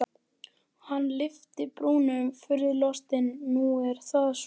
Hann lyfti brúnum furðulostinn: Nú er það svo?